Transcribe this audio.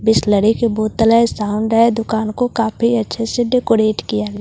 बिसलेरी की बोतल हैं साउंड हैं दुकान को काफी अच्छे से डेकोरेट किया हैं --